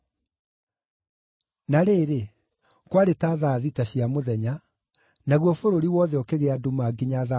Na rĩrĩ, kwarĩ ta thaa thita cia mũthenya, naguo bũrũri wothe ũkĩgĩa nduma nginya thaa kenda,